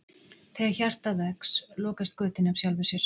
Þegar hjartað vex lokast götin af sjálfu sér.